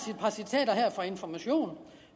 par citater her fra information